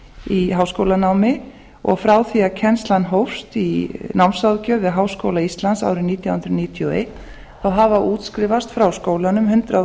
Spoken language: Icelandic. í háskólanámi og frá því að kennslan hófst í námsráðgjöf við háskóla íslands árið nítján hundruð níutíu og eitt hafa útskrifast frá skólanum hundrað